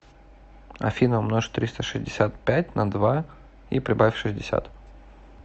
афина умножь триста шестьдесят пять на два и прибавь шестьдесят